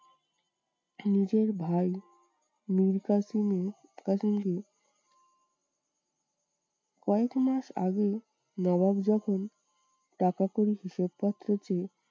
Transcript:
নিজের ভাই মীর কাসিমের কয়েক মাস আগে নবাব যখন টাকা করির হিসাবপত্র চেয়ে